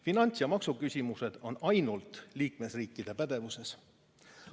Finants- ja maksuküsimused on ainult liikmesriikide pädevuses.